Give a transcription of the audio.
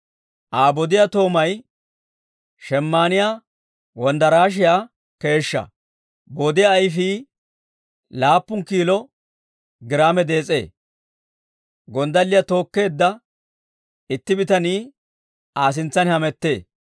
Aa bodiyaa toomay shemayinniyaa wonddarashiyaa keeshshaa; bodiyaa ayfii laappun kiilo giraame dees'ee; gonddalliyaa tookkeedda itti bitanii Aa sintsan hamettee.